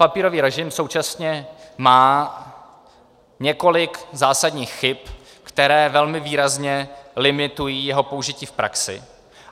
Papírový režim současně má několik zásadních chyb, které velmi výrazně limitují jeho použití v praxi.